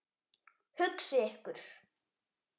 Hugsið ykkur.